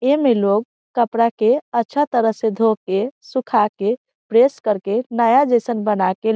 एमे लोग कपड़ा के अच्छा तरह से धो के सुखा के प्रेस करके नया जैसन बना के ।